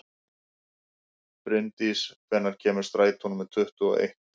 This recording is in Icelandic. Brimdís, hvenær kemur strætó númer tuttugu og eitt?